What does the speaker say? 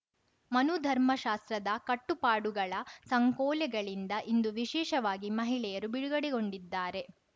ಮನು ಧರ್ಮ ಶಾಸ್ತ್ರದ ಕಟ್ಟುಪಾಡುಗಳ ಸಂಕೋಲೆಗಳಿಂದ ಇಂದು ವಿಶೇಷವಾಗಿ ಮಹಿಳೆಯರು ಬಿಡುಗಡೆಗೊಂಡಿದ್ದಾರೆ